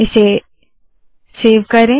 इसे सेव करे